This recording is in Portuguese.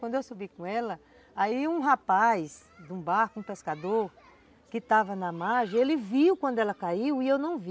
Quando eu subi com ela, aí um rapaz de um barco, um pescador, que estava na margem, ele viu quando ela caiu e eu não vi.